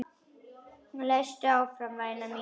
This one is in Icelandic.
Lestu áfram væna mín!